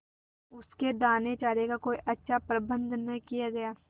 उसके दानेचारे का कोई अच्छा प्रबंध न किया गया